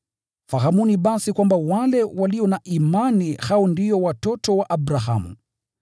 Fahamuni basi kwamba wale walio na imani, hao ndio watoto wa Abrahamu.